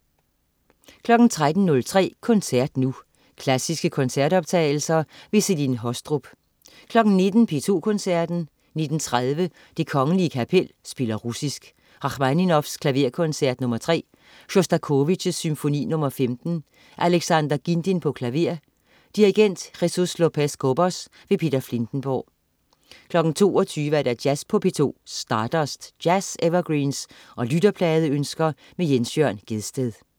13.03 Koncert nu. Klassiske koncertoptagelser. Celine Haastrup 19.00 P2 Koncerten. 19.30 Det Kgl. Kapel spiller russisk. Rakhmaninov: Klaverkoncert nr. 3. Sjostakovitj: Symfoni nr. 15. Alexander Ghindin, klaver. Dirigent: Jesús Lopéz-Cobos. Peter Filtenborg 22.00 Jazz på P2. Stardust. Jazz-evergreens og lytterpladeønsker. Jens Jørn Gjedsted